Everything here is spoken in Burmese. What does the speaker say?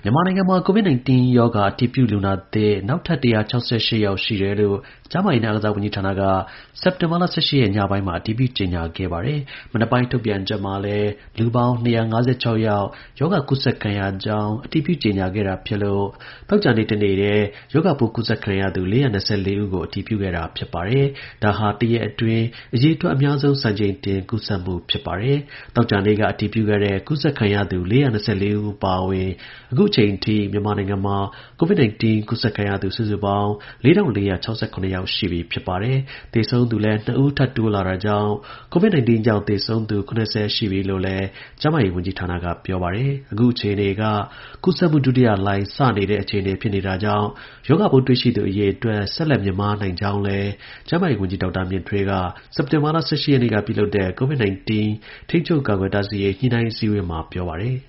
မြန်မာနိုင်ငံမှာ COVID-19 ရောဂါ အတည်ပြုလူနာသစ် နောက်ထပ် ၁၆၈ ယောက်ရှိတယ်လို့ ကျန်းမာရေးနဲ့ အားကစားဝန်ကြီးဌာန က စက်တင်ဘာလ ၁၈ ရက် ညပိုင်းမှာ အတည်ပြု ကြေညာခဲ့ပါတယ်။ မနက်ပိုင်း ထုတ်ပြန်ချက်မှာလည်း လူပေါင်း ၂၅၆ ယောက် ရောဂါကူးစက်ခံရကြောင်း အတည်ပြုကြေညာခဲ့တာ ဖြစ်လို့ သောကြာနေ့ တစ်နေ့တည်း ရောဂါပိုး ကူးစက်ခံရသူ ၄၂၄ ဦးကို အတည်ပြုခဲ့တာဖြစ်ပါတယ်။ ဒါဟာ တစ်ရက်အတွင်း အရေအတွက် အများဆုံး စံချိန်တင် ကူးစက်မှု ဖြစ်ပါတယ်။ သောကြာနေ့က အတည်ပြုခဲ့တဲ့ ကူးစက်ခံရသူ ၄၂၄ ဦး အပါအဝင် အခုအချိန်ထိ မြန်မာနိုင်ငံမှာCOVID 19ကူးစက်ခံရသူ စုစုပေါင်း ၄၄၆၇ ယောက် ရှိပြီဖြစ်ပါတယ်။ သေဆုံးသူလည်း ၂ ဦး ထပ်တိုးလာတာကြောင့်COVID-19 ကြောင့် သေဆုံးသူ ၇၀ ရှိပြီလို့လည်း ကျန်းမာရေး ဝန်ကြီး ဌာနက ပြောပါတယ်။ အခုအခြေအနေက ကူးစက်မှုဒုတိယလှိုင်း စတဲ့နေတဲ့ အခြေအနေဖြစ်တာကြောင့် ရောဂါပိုးတွေ့ရှိသူ အရေအတွက်များ ဆက်လက် မြင့်မားနိုင်ကြောင်းကိုလည်း ကျန်းမာရေးဝန်ကြီး ဒေါက်တာ မြင့်ထွေးက စက်တင်ဘာလ ၁၈ ရက်နေ့က ပြုလုပ်တဲ့ COVID 19 ထိန်းချုပ်ကာကွယ်တားဆီးရေး ညှိနှိုင်း အစည်းအဝေးမှာ ပြောပါတယ်။